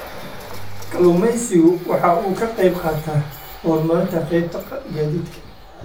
Kalluumaysigu waxa uu ka qayb qaataa horumarinta qaybta gaadiidka.